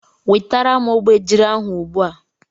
Wetara m obejiri ahụ ugbu a!